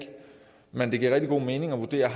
men det giver rigtig god mening at vurdere